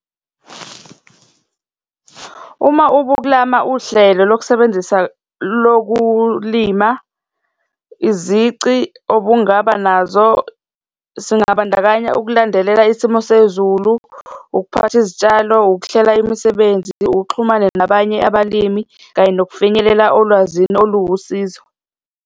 Uma ubuklama uhlelo lokusebenzisa lokulima izici obungaba nazo, singabandakanya ukulandelela isimo sezulu, ukuphatha izitshalo, ukuhlela imisebenzi, uxhumane nabanye abalimi, kanye nokufinyelela olwazini oluwusizo.